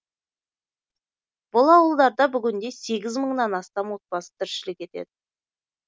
бұл ауылдарда бүгінде сегіз мыңнан астам отбасы тіршілік етеді